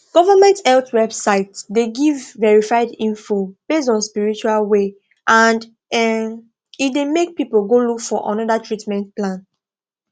government health website dey give verified info based on spiritual way and um e dey make people go look for another treatment plan